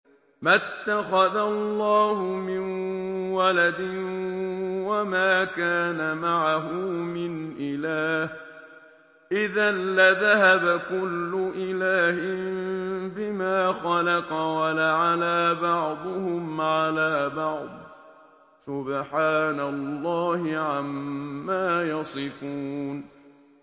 مَا اتَّخَذَ اللَّهُ مِن وَلَدٍ وَمَا كَانَ مَعَهُ مِنْ إِلَٰهٍ ۚ إِذًا لَّذَهَبَ كُلُّ إِلَٰهٍ بِمَا خَلَقَ وَلَعَلَا بَعْضُهُمْ عَلَىٰ بَعْضٍ ۚ سُبْحَانَ اللَّهِ عَمَّا يَصِفُونَ